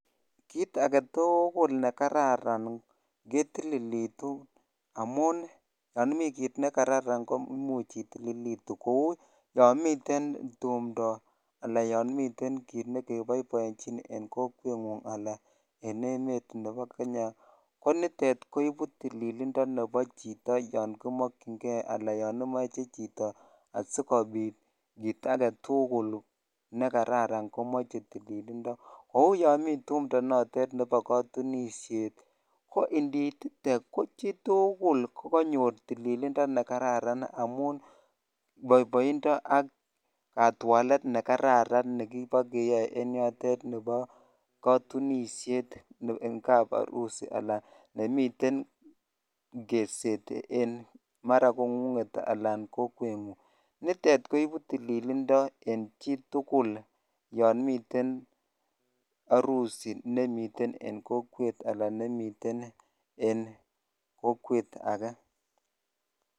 Kiit age tuugul ne kararan ketililitu amun Yami kiit nekararan komuch itililitu kou yamiten tumdo anan ko kiit ne kibaibaitun en kokwet anan en emet Nebo Kenya konitet koibu tililindo nebo chito yankimakingee anan yanimache chito sikobit kiit age tugul nekararan komoche tililindo kou yomiten tumdo nebo katunisiet ko iniitite ko chitugul kokanyor tililindo nekararan amun boiboindo ak katwalet nekararan nebikeyae en yotet Nebo katunisiet en kap arusi nemiten keset mara ko kokunget anan kokweguk koibu tililindo en chitugul yonmiten arusi nemiten en kokwet anan nemiten en kokwet age.